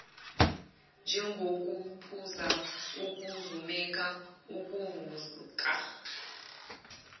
njengokuphuza ukuzumeka ukuvuka